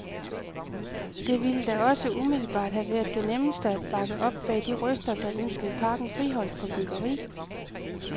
Det ville da også umiddelbart have været det nemmeste at bakke op bag de røster, der ønskede parken friholdt for byggeri.